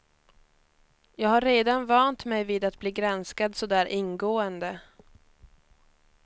Jag har redan vant mig vid att bli granskad så där ingående.